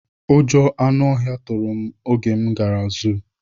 Ụjọ nọ anụ ọhịa tụrụ oge m gara zụ